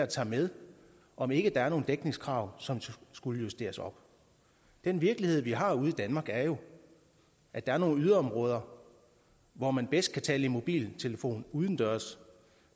tager med om ikke der er nogen dækningskrav som skulle justeres op den virkelighed vi har ude i danmark er jo at der er nogle yderområder hvor man bedst kan tale i mobiltelefon udendørs